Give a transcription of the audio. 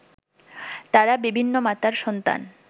তারা বিভিন্ন মাতার সন্তান